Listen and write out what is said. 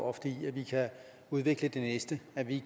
ofte i at vi kan udvikle det næste at vi